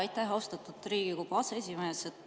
Aitäh, austatud Riigikogu aseesimees!